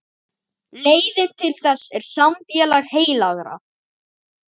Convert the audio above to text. Leiðin til þess er samfélag heilagra.